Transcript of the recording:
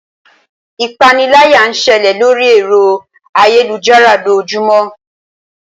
Ipániláyà ń ṣẹlẹ̀ lóri ẹ̀rọ ayélujára lójoojúmó.